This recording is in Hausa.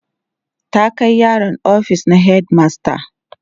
ta Kai yaron ofis na headmaster